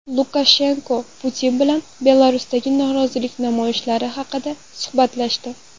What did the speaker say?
Lukashenko Putin bilan Belarusdagi norozilik namoyishlari haqida suhbatlashdi.